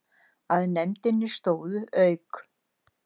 Að nefndinni stóðu, auk